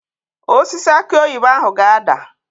Osisi akị oyibo ahụ ga-ada.